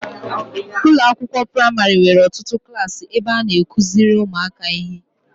Ụlọakwụkwọ praịmarị nwere ọtụtụ klaasị ebe a na-akụziri ụmụaka ihe.